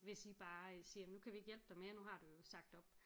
Hvis I bare siger nu kan vi ikke hjælpe dig mere nu har du jo sagt op